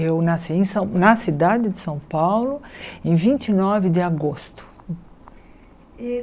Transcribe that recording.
Eu nasci em na cidade de São Paulo em vinte e nove de agosto.